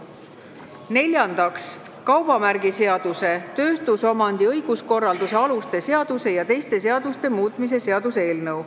Neljandaks, kaubamärgiseaduse, tööstusomandi õiguskorralduse aluste seaduse ja teiste seaduste muutmise seaduse eelnõu.